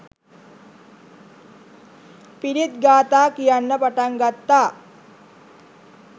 පිරිත් ගාථා කියන්න පටන් ගත්තා